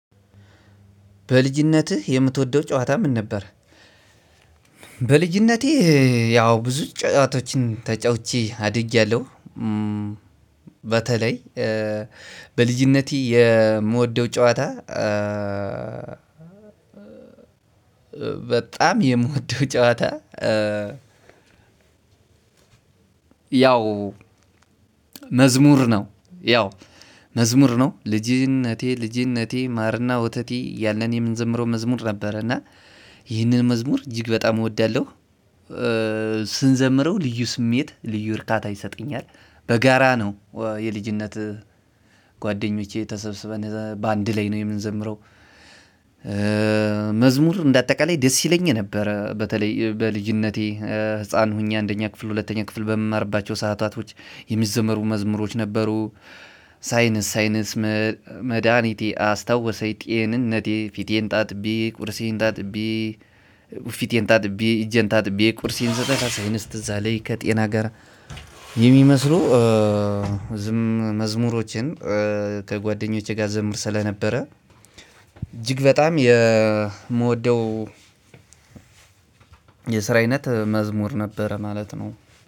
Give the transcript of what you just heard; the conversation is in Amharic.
በልጅነትህ የምትወደው ጨዋታ ምን ነበር? በልጅነቴ ያው ብዙ ጫጫቶችን ተጫውቼ አድጊያለሁ። በተለይ በልጅነቴ የምወደው ጨዋታ በጣም የምወደው ጨዋታ ያው መዝሙር ነው። ያው መዝሙር ነው። "ልጅነቴ ልጅነቴ ማርና ወተቴ" ያለን የምንዘምረው መዝሙር ነበረ እና ይህንን መዝሙር እጅግ በጣም እወዳለሁ። ስንዘምረው ልዩ ስሜት ልዩ እርካታ ይሰጠኛል በጋራ ነው የልጅነት ጓደኞቼ ተሰብስበን በአንድ ላይ ነው የምንዘምረው። መዝሙር እንደ አጠቃላይ ደስ ይለኝ ነበር። በተለይ በልጅነቴ ህፃን ሁኜ አንደኛ ክፍል ሁለተኛ ክፍል በመማርባቸው ሰዓታቶች የሚዘመሩ መዝሙሮች ነበሩ። ሳይንስ ሳይንስ መድኃኒቴ አስታወሰኝ ጤንነቴ ፊቴን ታጥቤ ቁርሴን ታጥቤ ፊቴን ታጥቤ እጀን ታጥቤ ቁርሴን አሁንስ ትዝ አለኝ ከጤና ጋር የሚመስሉ ዝም መዝሙሮችን ከጓደኞቼ ጋር ዘምር ስለነበረ እጅግ በጣም የምወደው የስራ አይነት መዝሙር ነበረ ማለት ነው።